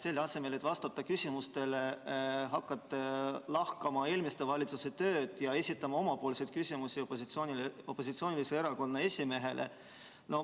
Selle asemel, et vastata küsimustele, hakkasite lahkama eelmiste valitsuste tööd ja esitama omapoolseid küsimusi opositsioonilise erakonna esimehele.